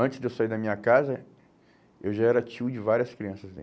Antes de eu sair da minha casa, eu já era tio de várias crianças dele.